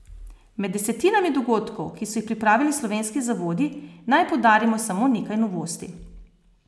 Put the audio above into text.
Med desetinami dogodkov, ki so jih pripravili slovenski zavodi, naj poudarimo samo nekaj novosti.